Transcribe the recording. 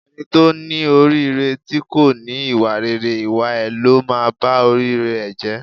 Ẹni tó ní orí rere tí kò ní ìwà rere, ìwà ẹ ló máa ba orí rere ẹ̀ jẹ́.